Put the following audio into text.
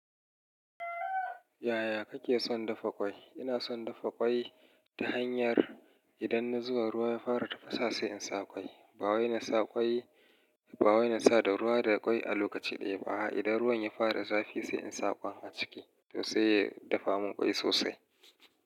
Yaya kake son dafa ƙwai? Ina son dafa ƙwai ta hanyar idan na zuwa ruwa ya fara tafasa sai in sa ƙwai. Ba wai na sa da ruwa da ƙwai a lokaci ɗaya ba. A'a, idan ruwan ya fara zafi sai in sa ƙwai a ciki, to sai ya dafa mun ƙwai sosai.